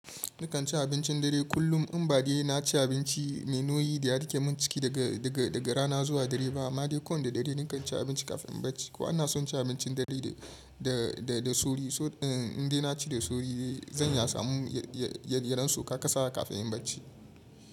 Nakan ci abincin dare kullum in ba de na ci abinci mai nauyi da ya rike min ciki daga rana zuwa dare ba. Amma dai ko wane da dare ni kan ci abinci kafin bacci. Ko ana son ci abincin dare da sauri. In dai na ci da sauri zan iya samun ya yaran su kaka sa kafin in bacci.